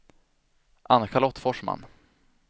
Ann-Charlotte Forsman